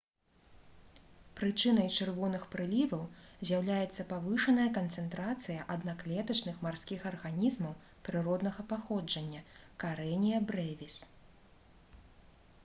прычынай чырвоных прыліваў з'яўляецца павышаная канцэнтрацыя аднаклетачных марскіх арганізмаў прыроднага паходжання karenia brevis